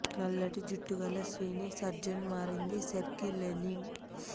నల్లటి జుట్టు గల స్త్రీని సర్జన్ మారింది సెర్గీ లెవిన్